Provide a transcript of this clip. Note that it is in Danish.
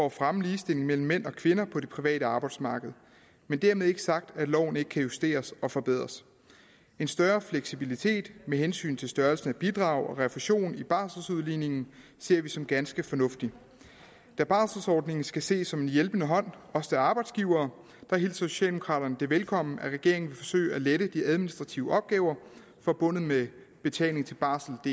at fremme ligestilling mellem mænd og kvinder på det private arbejdsmarked men dermed ikke sagt at loven ikke kan justeres og forbedres en større fleksibilitet med hensyn til størrelsen af bidrag og refusion i barseludligningen ser vi som ganske fornuftig da barselordningen skal ses som en hjælpende hånd også til arbejdsgivere hilser socialdemokraterne det velkomment at regeringen vil forsøge at lette de administrative opgaver forbundet med betaling til barseldk